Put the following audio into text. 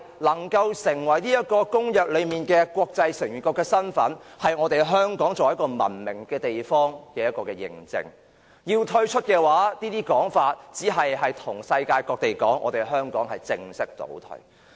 可以成為公約中國際成員國的身份，其實便是香港作為一個文明地方的認證；如果要退出，便等於向世界各地表明香港是在正式倒退。